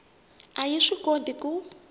a yi swi koti ku